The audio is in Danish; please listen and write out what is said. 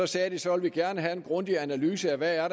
sagde så at de gerne ville have en grundig analyse af hvad der